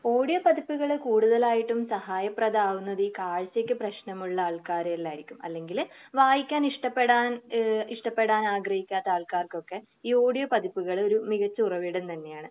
Audio പതിപ്പുകൾ കൂടുതലായിട്ടും സഹായപ്രധമാവുന്നത് ഈ കാഴ്ചക്ക് പ്രശ്നമുള്ള ആൾക്കാരെയിലായിരിക്കും. അല്ലെങ്കിൽ വായിക്കാൻ ഇഷ്ടപ്പെടാൻ ഏഹ് ഇഷ്ടപ്പെടാൻ ആഗ്രഹിക്കാത്ത ആൾക്കാർക്കൊക്കെ ഈ ഓഡിയോ പതിപ്പുകൾ ഒരു മികച്ച ഉറവിടം തന്നെയാണ്.